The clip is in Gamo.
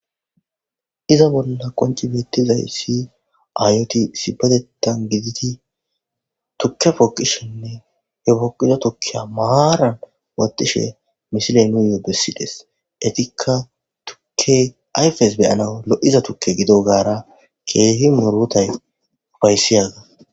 Iza bolla qonci beettizay si aayoti sibatettan gididi tukke fooqishinne he poqiza tukkiya maaran watishe mishiley nuuyoo bessides etikka tukke ayfes beyanaw lo'iza tukke gido gaara keehi murotay ufayssiyaga